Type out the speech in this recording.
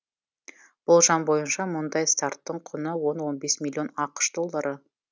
болжам бойынша мұндай старттың құны он он бес миллион ақш доллары